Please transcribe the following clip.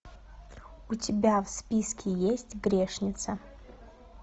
у тебя в списке есть грешница